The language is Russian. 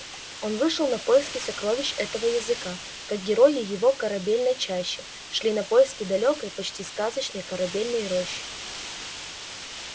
он вышел на поиски сокровищ этого языка как герои его корабельной чащи шли на поиски далёкой почти сказочной корабельной рощи